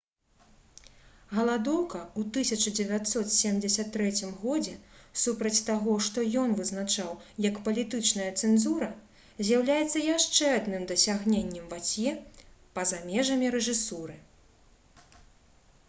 галадоўка ў 1973 годзе супраць таго што ён вызначаў як палітычная цэнзура з'яўляецца яшчэ адным дасягненнем вацье па-за межамі рэжысуры